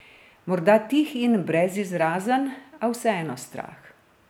Morda tih in brezizrazen, a vseeno strah.